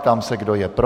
Ptám se, kdo je pro.